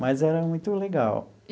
Mas era muito legal.